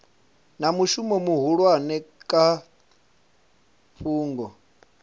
na mushumo muhulwane kha fhungo